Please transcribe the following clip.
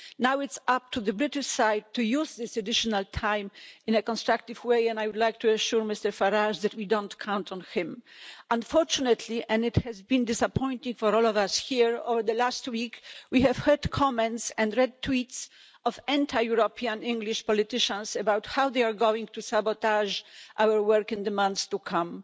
Now it's up to the British side to use this additional time in a constructive way, and I would like to assure Mr Farage that we don't count on him. Unfortunately and it has been disappointing for all of us here over the last week we have heard comments and read tweets from anti European English politicians about how they are going to sabotage our work in the months to come.